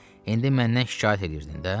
İndi məndən şikayət eləyirdin də?